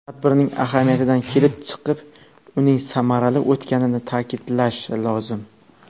Tadbirning ahamiyatidan kelib chiqib, uning samarali o‘tganini ta’kidlash lozim.